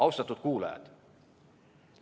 Austatud kuulajad!